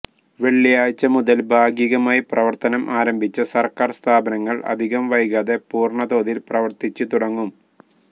വെള്ളിയാഴ്ച്ച മുതല് ഭാഗികമായി പ്രവര്ത്തനം ആരംഭിച്ച സര്ക്കാര് സ്ഥാപനങ്ങള് അധികം വൈകാതെ പൂര്ണതോതില് പ്രവര്ത്തിച്ച് തുടങ്ങും